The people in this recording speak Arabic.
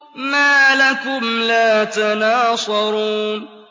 مَا لَكُمْ لَا تَنَاصَرُونَ